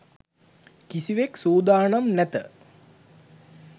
කිසිවෙක් සූදානම් නැත